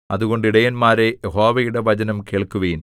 അതുകൊണ്ട് ഇടയന്മാരേ യഹോവയുടെ വചനം കേൾക്കുവിൻ